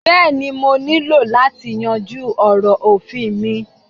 Béèni ọ̀ niló lati yanju òrò ofin mí